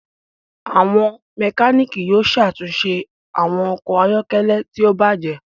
Àwọn Mẹkáníìkì yóò ṣàtúnṣe àwọn okò ayọkẹlẹ tí o bàjé